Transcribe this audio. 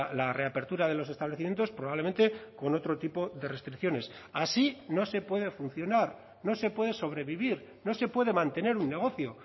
la reapertura de los establecimientos probablemente con otro tipo de restricciones así no se puede funcionar no se puede sobrevivir no se puede mantener un negocio